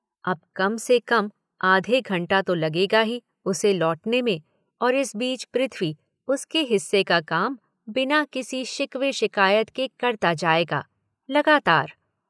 अब कम से कम आधे घंटा तो लगेगा ही उसे लौटने में और इस बीच पृथ्वी उसके हिस्से का काम बिना किसी शिकवे शिकायत के करता जाएगा, लगातार।